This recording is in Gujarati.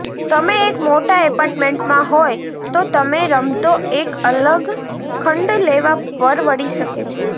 તમે એક મોટા એપાર્ટમેન્ટમાં હોય તો તમે રમતો એક અલગ ખંડ લેવા પરવડી શકે છે